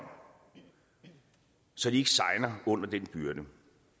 så de ikke segner under den byrde